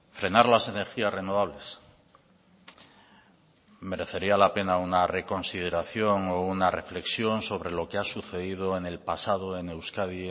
frenar las energías renovables merecería la pena una reconsideración o una reflexión sobre lo que ha sucedido en el pasado en euskadi